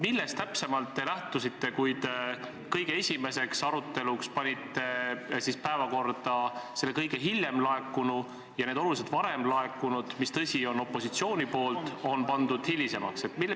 Millest te täpselt lähtusite, kui panite kõige esimeseks arutelupunktiks selle kõige hiljem laekunu ja need oluliselt varem laekunud, mis, tõsi, on opositsioonilt, panite hilisemaks?